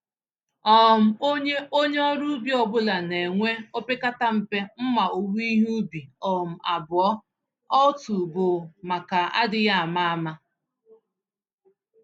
um Onye Onye ọrụ ubi ọ bụla na enwe opekata mpe mmá owuwe ihe ubi um abụọ - otu bụ maka adịghị àmà-àmà